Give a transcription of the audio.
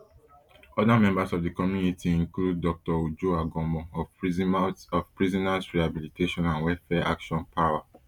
oda members of di committee include dr uju agomuoh of prisoners rehabilitation and welfare action prawa